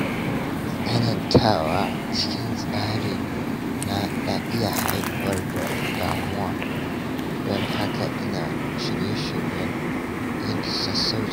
Tsanantawa cikin tsari na na iya haifar da damuwa, don haka ina shirye-shiryen yin sassauci.